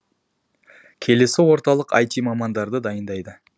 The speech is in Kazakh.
келесі орталық іт мамандарды дайындайды